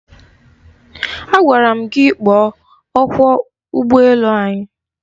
Agwara m gị kpọọ ọkwọ ụgbọ elu anyị!